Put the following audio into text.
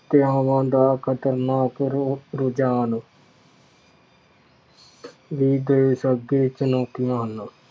ਹੱਤਿਆਂਵਾਂ ਦਾ ਖਤਰਨਾਕ ਰੁ ਰੁਝਾਨ ਵੀ ਦੇਸ਼ ਅੱਗੇ ਚੁਣੌਤੀਆਂ ਹਨ।